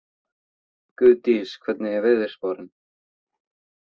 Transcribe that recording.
Guðdís, hvernig er veðurspáin?